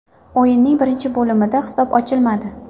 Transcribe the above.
O‘yinning birinchi bo‘limida hisob ochilmadi.